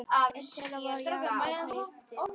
Einn þeirra var Jakob heitinn